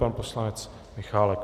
Pan poslanec Michálek.